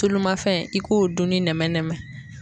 Tulu ma fɛn i k'o dunni nɛmɛ nɛmɛ.